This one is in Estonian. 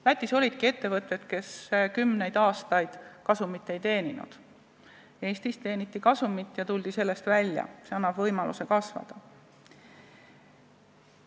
Lätis olidki ettevõtted, kes kümneid aastaid kasumit ei teeninud, Eestis teeniti kasumit ja tuldi sellest välja, sest see annab võimaluse kasvada.